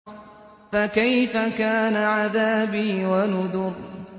فَكَيْفَ كَانَ عَذَابِي وَنُذُرِ